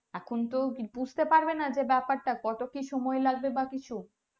এখুন তো বুঝতে পারবে না বেপার তা কত কি সময়ে লাগবে বা কিছু